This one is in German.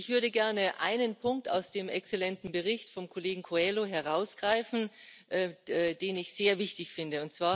Ich würde gerne einen Punkt aus dem exzellenten Bericht des Kollegen Coelho herausgreifen, den ich sehr wichtig finde.